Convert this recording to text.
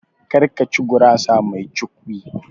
Kar ka ci gurasa mai cukwi (Pizza)!